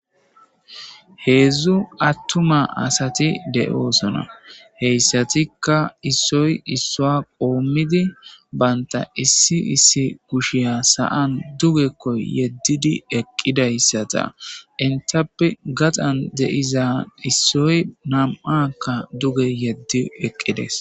heedzdzu attuma asati de7oosona heyssatikka issoy issua qoommidi baynta issi issi kushiya saan dugekko yeddidi eqqidayssata intappe gaxan de'iza issoy nam7akka duge yeddi eqqides